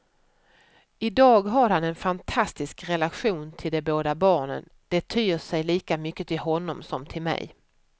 I dag har han en fantastisk relation till båda barnen, de tyr sig lika mycket till honom som till mig.